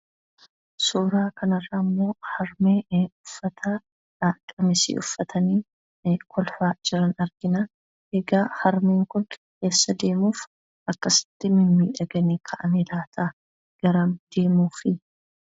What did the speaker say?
Suuraa kanarraammoo harmee uffata qamisii uffatanii kolfaa jiran argina. Egaa harmeen kun eessa deemuuf akkasitti mimmiidhaganii ka'ani laata? Garam deemuufi?